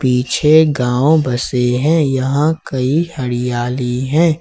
पीछे गांव बसे हैं यहां कई हरियाली है।